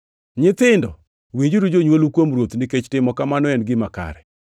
Nyithindo, winjuru jonywolu kuom Ruoth nikech timo kamano en gima kare.